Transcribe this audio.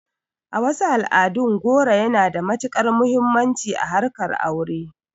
A wasu al'adun, goro yana da matuƙar muhimmanci a harkar ta aure